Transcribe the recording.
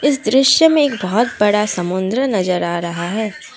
इस दृश्य में एक बहुत बड़ा समुद्र नजर आ रहा है।